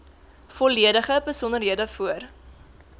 volledige besonderhede voor